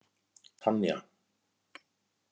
Tanja